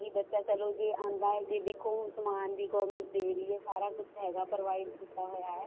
ਕੇ ਬੱਚਾ ਚਲੋ ਜੇ ਆਉਂਦਾ ਹੈ ਜੇ ਦੇਖੋ ਹੁਣ ਸਮਾਨ ਵੀ government ਦੇ ਰਹੀ ਹੈ ਸਾਰਾ ਕੁੱਝ ਹੈਗਾ provide ਕੀਤਾ ਹੋਇਆ